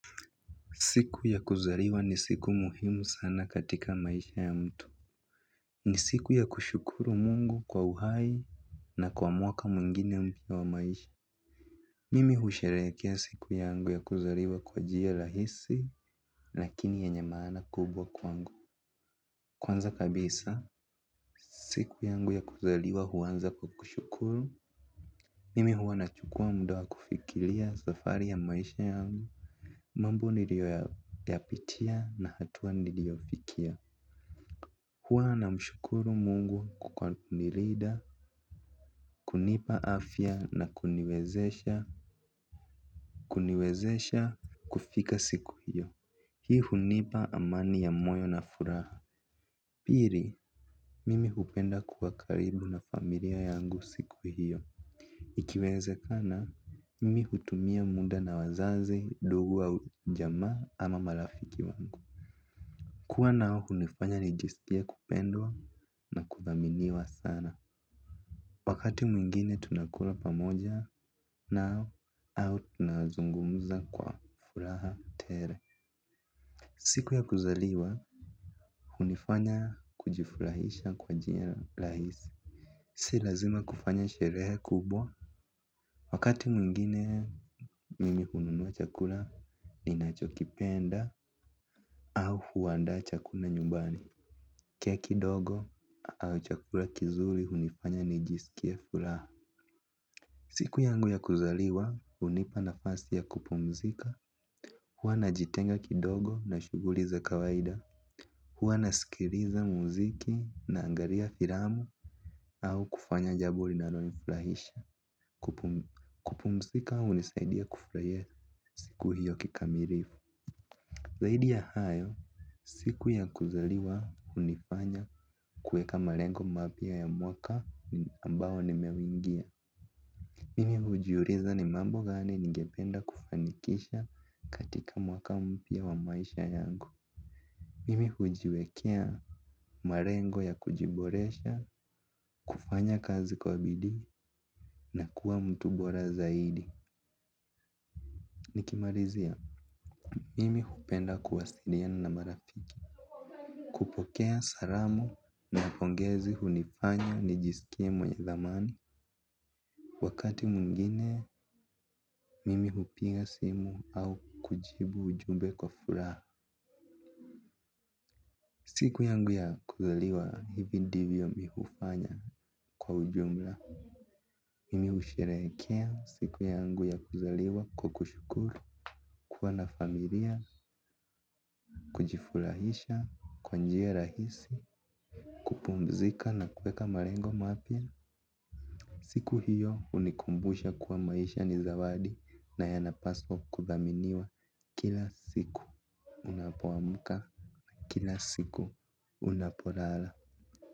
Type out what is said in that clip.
Siku ya kuzariwa ni siku muhimu sana katika maisha ya mtu. Ni siku ya kushukuru mungu kwa uhai na kwa mwaka mwingine mpya wa maisha. Mimi husherekea siku yangu ya kuzariwa kwa jia lahisi lakini yenye maana kubwa kwangu. Kwanza kabisa siku yangu ya kuzariwa huanza kwa kushukuru. Mimi huwa na chukua muda wa kufikilia safari ya maisha yangu. Mambo nilioyapitia na hatua ni lio fikia huwa na mshukuru mungu kwa kunirida, kunipa afya na kuniwezesha kuniwezesha kufika siku hiyo. Hii hunipa amani ya moyo na furaha. Piri, mimi hupenda kuwa karibu na familia yangu siku hiyo. Ikiweze kana, mimi hutumia munda na wazazi, dugu au jamaa ama malafiki wangu. Kuwa nao hunifanya nijiskie kupendwa na kuthaminiwa sana. Wakati mwingine tunakula pamoja nao au tunazungumuza kwa furaha tele. Siku ya kuzaliwa hunifanya kujifurahisha kwa jia lahisi. Si lazima kufanya sherehe kubwa. Wakati mwingine mimi hununua chakula ni nacho kipenda au huandaa chakula nyumbani. Keki dogo au chakula kizuri unifanya nijisikie furaha. Siku yangu ya kuzaliwa unipa nafasi ya kupumzika. Huwa najitenga kidogo na shuguli za kawaida. Huwa nasikiriza muziki nangaria firamu. Au kufanya jabo linalonifurahisha kupumzika unisaidia kufurahia siku hiyo kikamirifu. Zaidi ya hayo siku ya kuzaliwa unifanya kueka malengo mapya ya mwaka ambao ni meuingia. Mimi hujiuriza ni mambo gani ningependa kufanikisha katika mwaka mpya wa maisha yangu. Mimi hujiwekea marengo ya kujiboresha, kufanya kazi kwa bidii na kuwa mtu bora zaidi. Nikimarizia, mimi hupenda kuwasiliana na marafiki. Kupokea saramu na pongezi hunifanya ni jisikie mwenye thamani. Wakati mwingine, mimi hupiga simu au kujibu ujumbe kwa furaha. Siku yangu ya kuzaliwa hivi ndivyo mihufanya kwa ujumla. Mimi usherekea siku yangu ya kuzaliwa kwa kushukuru. Kuwa na familia kujifurahisha kwa njia rahisi kupumzika na kuweka marengo mapya siku hiyo unikumbusha kuwa maisha nizawadi na yanapaswa kuthaminiwa. Kila siku unapoamuka kila siku unaporala.